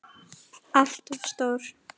ALLT OF STÓR!